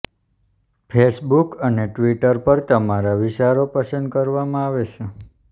Facebook અને Twitter પર તમારા વિચારો પસંદ કરવામાં આવે છે